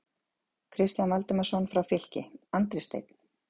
Kristján Valdimarsson frá Fylki, Andri Steinn???